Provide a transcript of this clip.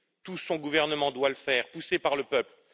tout son gouvernement doit le faire, poussé par le peuple.